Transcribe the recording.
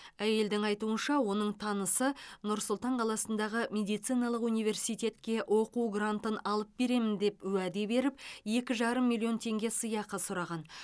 әйелдің айтуынша оның танысы нұр сұлтан қаласындағы медициналық университетке оқу грантын алып беремін деп уәде беріп екі жарым миллион теңге сыйақы сұраған